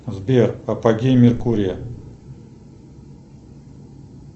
сбер апогей меркурия